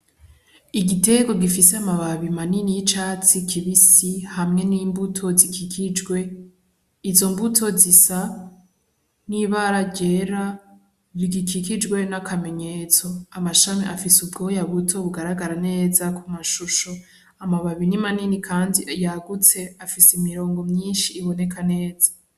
Igiterwa gifise amababi manini y'icatsi kibisi hamwe n'imbuto zikikijwe izo mbuto zisa n'ibara ryera rigikikijwe n'akamenyetso amashami afise ubwoya buto bugaragara neza ku mashusho amababi ni manini kandi yagutse afise imirongo iboneka neza.